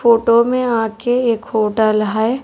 Photo में आके एक होटल है।